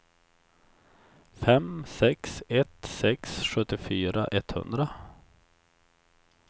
fem sex ett sex sjuttiofyra etthundra